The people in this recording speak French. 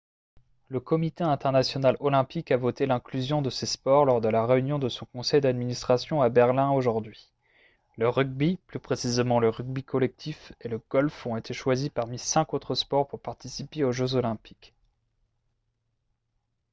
le comité international olympique a voté l'inclusion de ces sports lors de la réunion de son conseil d'administration à berlin aujourd'hui le rugby plus précisément le rugby collectif et le golf ont été choisis parmi cinq autres sports pour participer aux jeux olympiques